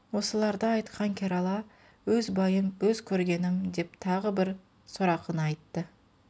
осыларды айтқан керала өз байым өз көргенім деп тағы бір сорақыны айтты